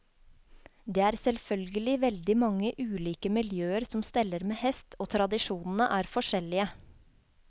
Det er selvfølgelig veldig mange ulike miljøer som steller med hest, og tradisjonene er forskjellige.